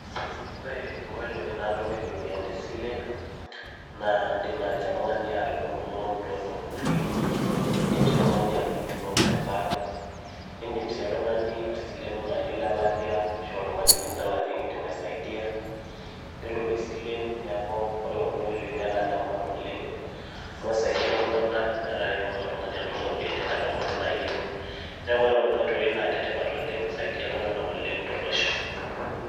Ore nkoitoi naatumieki iropiyiani tesile naa indiim naaji oltung'ani atudumu loan tooltururi nindiim sii oltung'ani atudumu loan te bank nidiim sii oltung'ani aisileno naaji olelatia ashu oltung'ani lidol ajo ekindim asiaidia ore pee isil nidol ajo ore kuna oitoi netaa ine maana oleng amu eisaidia iltung'anak metaa ketumoki oltung'ani anoto iropiyiani enkata pooki nayieu neeku ore kuna oitoi naa inetipat oleng eisaidia iltung'anak oleng tolosho.